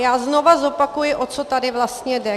Já znovu zopakuji, o co tady vlastně jde.